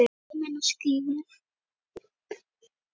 Ferming og skírn.